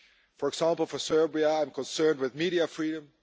For example, for Serbia I am concerned with media freedom